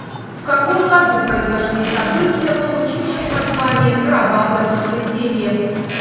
в каком году произошли события получившие название кровавое воскресенье